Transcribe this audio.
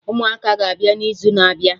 Ụmụaka ga-abịa na izu na-abịa